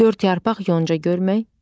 Dörd yarpaq yonca görmək.